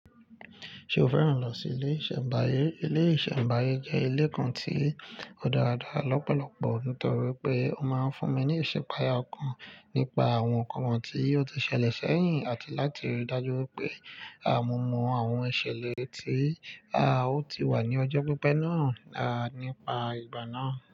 Ṣe o fẹ́ràn lọ sí ilé ìṣẹ̀mbáyé? Ilé ìṣẹ̀mbáyé jẹ́ ilé kan tí ó dára dára lọ́pọ̀lọpọ̀ nítorí pé ó máa ń fún mi ní ìṣèpèayè kan nípa àwọn nǹkan tí ó ti ṣẹlẹ̀ sẹ́yìn àti láti rí i dájú pé mo mọ àwọn ìṣẹ̀lẹ̀ tí a ó ti wà ní ọjọ́ pípẹ́ náà nípa ìgbà náà.